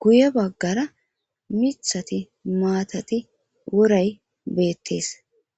guye baggara mithati maatati woray beettees